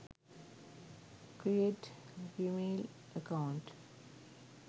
create gmail account